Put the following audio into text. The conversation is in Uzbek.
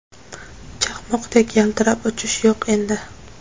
Chaqmoqdek yaltirab uchish yo‘q endi.